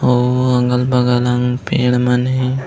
अऊ अगल-बगल मन पेड़ मन हे।